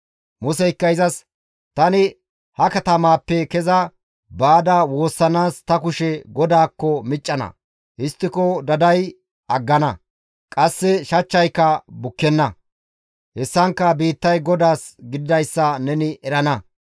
Museykka izas, «Tani ha katamaappe keza baada woossanaas ta kushe GODAAKKO miccana; histtiko daday aggana; qasse shachchayka bukkenna; hessankka biittay GODAAS gididayssa neni erana.